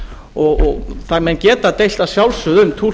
og menn geta að sjálfsögðu deilt um